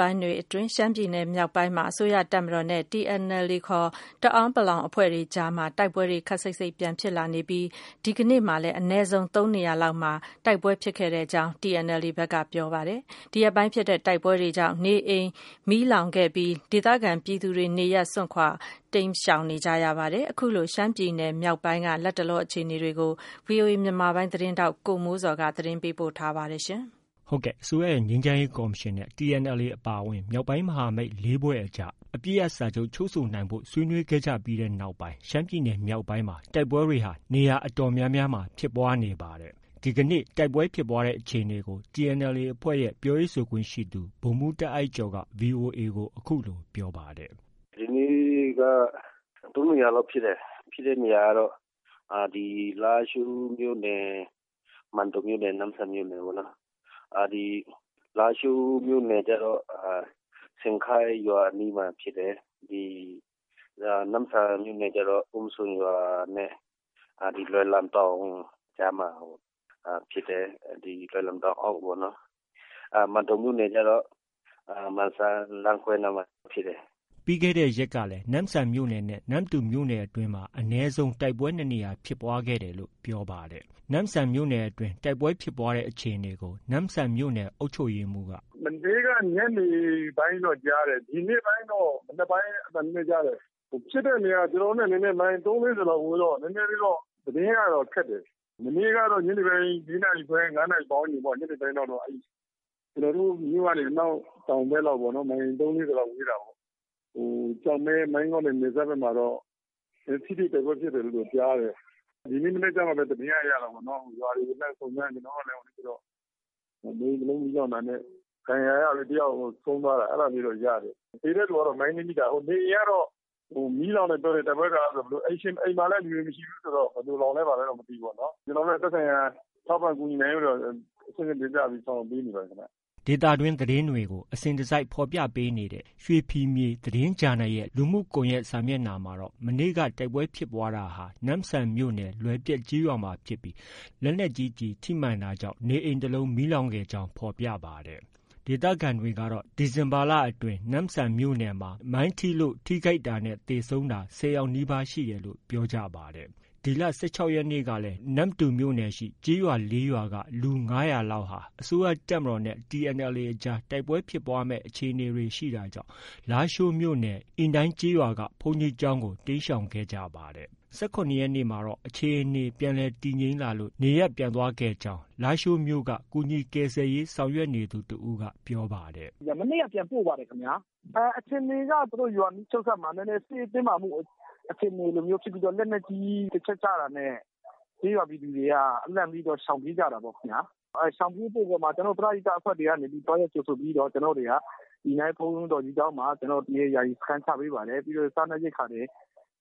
ပိုင်းတွေအတွင်း ရှမ်းပြည်နယ်မြောက်ပိုင်းမှာ အစိုးရတပ်မတော်နဲ့ TNLA ခေါ် တအာင်းပလောင်တပ် အဖွဲ့အကြားမှာ တိုက်ပွဲတွေ ခပ်စိတ်စိတ်ပြန် ဖြစ်လာနေပြီး ဒီကနေ့မှာလည်း အနည်းဆုံး ၃နေရာလောက်မှာ ဖြစ်ပွားခဲ့ကြောင်း TNLA ဘက်က ပြောပါတယ်။ ဒီရက်ပိုင်းဖြစ်တဲ့တိုက်ပွဲတွေကြောင့် လူနေအိမ်မီးလောင်တာ၊ ဒေသခံပြည်သူတွေ နေရပ်စွန့်ခွာတိမ်းရှောင်တာတွေလည်း ဖြစ်ခဲ့ပါတယ်။ ရှမ်းပြည်နယ်မြောက်ပိုင်းက လတ်တလောအခြေအနေတွေကို ဗွီအိုအေမြန်မာပိုင်းရဲ့ သတင်းထောက် ကိုမိုးဇော်က တင်ပြထားပါတယ်။ အစိုးရရဲ့ ငြိမ်းချမ်းရေးကော်မရှင် နဲ့ TNLA အပါအဝင် မြောက်ပိုင်းမဟာမိတ် ၄ဖွဲ့အကြား အပစ်ရပ်စာချုပ် ချုပ်ဆိုနိုင်ဖို့ ဆွေးနွေးခဲ့ကြပြီးနောက်ပိုင်း ရှမ်းပြည်နယ် မြောက်ပိုင်းမှာ တိုက်ပွဲတွေ နေရာအတော်များများမှာ ဖြစ်ပွားလာနေတာဖြစ်ပါတယ်။ ဒီကနေ့ တိုက်ပွဲဖြစ်ပွားတဲ့အခြေအနေကို TNLA အဖွဲ့ရဲ့ ပြောရေးဆိုခွင့်ရှိသူ ဗိုလ်မှူးတာအိုက်ကျော်က VOA ကို အခုလို ပြောပါတယ်။ “ ဒီနေ့က ၃နေရာလောက်ဖြစ်တယ်။ ဖြစ်တဲ့နေရာကတော့ ဒီ လားရှိုးမြို့နယ်၊ မန်တုံမြို့နယ်၊ နမ့်ဆန်မြို့နယ်ပေါ့။ ဒီ လားရှိုးမြို့နယ် ကျတော့ ရှန်ခိုက်ရွာအနီးမှာဖြစ်တယ်။ နမ့်ဆန်မြို့နယ်ကျတော့ အုံးစွန်ရွာနဲ့ ဒီ လွယ်လန်တောင် ကြားမှာဖြစ်တယ်။ လွယ်လန်တောင်အောက်ပေါ့။ မန်တုံမြို့နယ်ကျတော့ မန်စံလမ်းခွဲနားမှာဖြစ်တယ်။” ပြီးခဲ့တဲ့ရက်ကလည်း နမ့်ဆန်မြို့နယ်နဲ့ နမ္မတူမြို့နယ်အတွင်းမှာ အနည်းဆုံး တိုက်ပွဲ ၂နေရာ ဖြစ်ပွားခဲ့တယ်လို့ ပြောပါတယ်။ နမ့်ဆန်မြို့နယ်အတွင်း တိုက်ပွဲဖြစ်ပွားတဲ့ အခြေအနေကိုတော့ နမ့်ဆန် မြို့နယ်အုပ်ချုပ်မှူးက “မနေ့က ညနေပိုင်းတော့ ကြားတယ်။ ဒီနေ့ပိုင်းတော့ မနက်ပိုင်း အသံနည်းနည်း ကြားတယ်။ ဖြစ်တဲ့နေရာက ကျနော်တို့နဲ့ မိုင် ၃- ၄၀ လောက် ဝေးတော့ သတင်းကတော့ ခက်တယ်။ မနေ့ကတော့ ညနေပိုင်း ၄နာရီခွဲ၊ ၅နာရီပတ်ဝန်းကျင်လောက်ပေါ့။ ကျနော်တို့မြို့နဲ့ အနောက်တောင်ဘက်လောက်ပေါ့။ မိုင် ၃-၄၀လောက် ဝေးတာပေါ့ ကျောက်မဲ- မိုင်းငေါ့နဲ့ နယ်စပ်ဘက်မှာ ထိတွေ့တိုက်ပွဲဖြစ်တယ်လို့တော့ ကြားတယ်။ ဒီနေ့မနက်မှပဲ သတင်းကရတာပေါ့နော်။ ရွာတွေကို လှမ်းစုံစမ်းတော့ နေအိမ်တ လုံးမီးလောင်တာနဲ့ ဒဏ်ရာရသူ တယာက် ဆုံးသွားတာ အဲဒါလေးတော့ ရတယ်။ သေတဲ့သူကတော့ မိုင်းနင်းမိတာ။ နေအိမ်ကတော့ မီးလောင်တယ် ပြောတယ်။ တိုက်ပွဲကာလ ဆိုတော့။ အိမ်မှာလည်း လူတွေ မရှိဘူးဆိုတော့ ဘယ်လိုလောင်လဲ ဘာလဲတော့ မသိဘူးပေါ့နော်။ ကျနော်တို့လည်း သက်ဆိုင်ရာ ထောက်ပံ့ကူညီနိုင်ဖို့အတွက် အဆင့်ဆင့်တင်ပြပြီး ဆောင်ရွက်ပေးနေပါတယ်ခင်ဗျ။ ” ဒေသတွင်း သတင်းတွေကို အစဉ်တစိုက်ဖော်ပြပေးနေတဲ့ ရွှေဖီမြေသတင်းဂျာနယ်ရဲ့ လူမှုစာမျက်နှာမှာတော့ မနေ့က တိုက်ပွဲဖြစ်ပွားတာဟာ နမ့်ဆန်မြို့နယ်၊ လွယ်ပျက်ကျေးရွာမှာဖြစ်ပြီး လက်နက်ကြီးကျည် ထိမှန်တာကြောင့် မီးလောင်ခဲ့ကြောင်း ဖော်ပြပါတယ်။ ဒေသခံတွေကတော့ ဒီဇင်ဘာလအတွင်း နမ့်ဆန်မြို့နယ်အတွင်းမှာ မိုင်းထိလို့ ထိခိုက်တာနဲ့ သေဆုံးတာ ၁၀ယောက်နီးပါး ရှိတယ်လို့ ပြောပါတယ်။ ဒီလ ၁၆ရက်နေ့ကလည်း နမ္မတူမြို့နယ်ရှိ ကျေးရွာ ၄ရွာက လူ ၅၀၀လောက်ဟာ အစိုးရတပ်မတော်နဲ့ TNLA အကြား တိုက်ပွဲဖြစ်ပွားမယ့် အခြေအနေတွေ ရှိတာကြောင့် လားရှိုးမြို့နယ် အီနိုင်းကျေးရွာက ဘုန်းကြီးကျောင်းကို တိမ်းရှောင်ခဲ့ကြပါတယ်။ ၁၇ရက်နေ့မှာတော့ အခြေအနေ ပြန်လည် တည်ငြိမ်လာလို့ နေရပ်ပြန်သွားပြီးဖြစ်ကြောင်း လားရှိုးမြို့က ကူညီကယ်ဆယ်ရေး ဆောင်ရွက်နေသူ တစ်ဦးက ပြောပါတယ်။ “ မနေ့က ပြန်ပို့ပါတယ်ခင်ဗျာ။ အခြေအနေက သူတု့ိ ရွာနီးချုပ်စပ်မှာ စစ်ရေးတင်းမာမှု အခြေအနေမျိုးဖြစ်ပြီး လက်နက်ကြီး တစ်ချက်ကျတာနဲ့ ကျေးရွာပြည်သူတွေက လန့်ပြီးတော့ ရှောင်ပြေးကြတာပေါ့။ ရှောင်ပြေးမှုအပေါ်မှာ ကျနော်တို့ ပရဟိတအဖွဲ့တွေကနေပြီးတော့ သွားရောက်ကြိုဆိုပြီးတော့ ကျနော်တို့တွေက အီနိုင်းဘုန်းတော်ကြီးကျောင်းမှာ ယာယီစခန်းချပေးပါတယ်။ ပြီးတော့ စားနပ်ရိက္ခာတွေ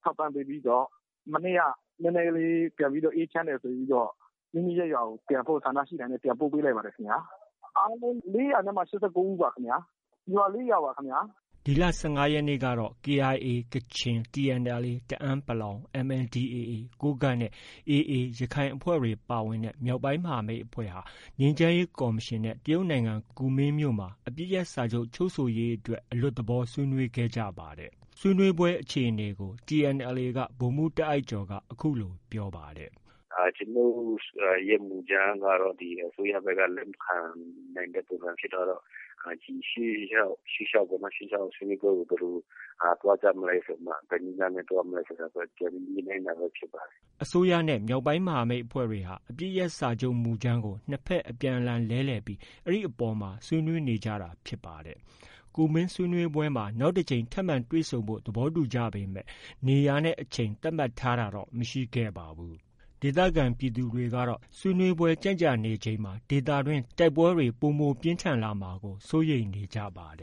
ထောက်ပံ့ပေးပြီးတော့ မနေ့က နည်းနည်းလေး ပြန်ပြီးတော့ အေးချမ်းတယ် ဆိုပြီးတော့ မိမိရပ်ရွာကို ပြန်ဖို့ ဆန္ဒရှိတာနဲ့ ပြန်ပို့ပေးလိုက်ပါတယ်။ အားလုံး လေးရာနဲ့မှ ရှစ်ဆယ့်ကိုးဦးပါခင်ဗျ။ ရွာလေး ရွာပါခင်ဗျ။” ဒီလ ၁၅ရက်နေ့ကတော့ KIA ကချင်၊ TNLA တအာင်းပလောင်၊ MNDAAကိုးကန့်နဲ့ AA ရခိုင်အဖွဲ့တွေ ပါဝင်တဲ့ မြောက်ပိုင်း မဟာမိတ်အဖွဲ့ဟာ အစိုးရငြိမ်းချမ်းရေးကော်မရှင်နဲ့ တရုတ်နိုင်ငံကူမင်းမြို့မှာ အပစ်ရပ်စာချုပ်ချုပ် ဆိုရေးအတွက် အလွတ်သဘောဆွေးနွေးခဲ့ကြပါတယ်။ ဆွေးနွေးပွဲအခြေအနေကို TNLA က ဗိုလ်မှူးတာအိုက်ကျော်က အခုလို ပြောပါတယ်။ “ ကျနော်တို့ရဲ့ မူကြမ်းကတော့ အစိုးရဘက်က လက်မခံနိုင်တဲ့ ပုံစံဖြစ်သွားတော့ ရှေ့လျှောက်ဆွေးနွေးပွဲကို ဘယ်လို ပုံစံသွားကြမလဲဆိုပြီးတော့မှ ဘယ်နည်းလမ်းနဲ့ သွားမလဲဆိုတာ ပြန်ပြီး ညှိနှိုင်းတာပဲ ဖြစ်ပါတယ်။” အစိုးရနဲ့ မြောက်ပိုင်းအဖွဲ့တွေဟာ အပစ်ရပ်စာချုပ်မူကြမ်းကို နှစ်ဘက် အပြန်အလှန်လဲလှယ်ပြီး အဲဒီအပေါ်မှာ ဆွေးနွေးနေကြတာဖြစ်ပါတယ်။ ကူမင်းဆွေးနွေးပွဲမှာ နောက်တစ်ထပ်မံ တွေ့ဆုံဖို့ သဘောတူကြပေမဲ့ နေရာနဲ့ အချိန် သတ်မှတ်ထားတာတော့ မရှိခဲ့ပါဘူး။ ဒေသခံပြည်သူတွေကတော့ ဆွေးနွေးပွဲကြန့်ကြာနေချိန်မှာ ဒေသတွင်း တိုက်ပွဲတွေ ပိုမိုပြင်းထန်လာမှာကို စိုးရိမ်နေကြပါတယ